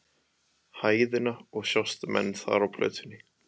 hæðina og sjást menn þar á plötunni.